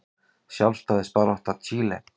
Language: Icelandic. Sjálfstæðisbarátta Chile.